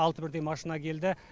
алты бірдей машина келді